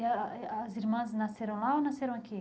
E a as irmãs nasceram lá ou nasceram aqui?